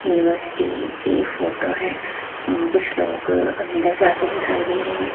University की photo है। कुछ लोग अंदर जाते दिखाई दे रहे हैं।